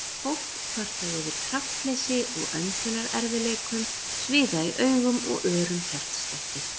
Fólk kvartað yfir kraftleysi og öndunarerfiðleikum, sviða í augum og örum hjartslætti.